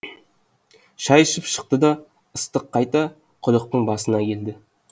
шай ішіп шықты да ыстық қайта құдықтың басына келді